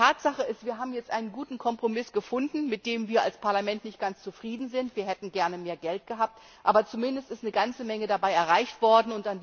Aber Tatsache ist, wir haben jetzt einen guten Kompromiss gefunden, mit dem wir als Parlament nicht ganz zufrieden sind wir hätten gerne mehr Geld gehabt aber zumindest ist eine ganze Menge dabei erreicht worden.